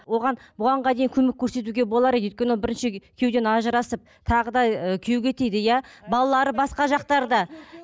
оған бұғанға көмек көрсетуге болар еді өйткені бірінші күйеуден ажырасып тағы да ы күйеуге тиді иә балалары басқа жақтарда